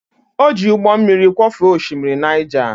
Ọ jị ụgbọ mmiri kwọfee oshimiri Naija.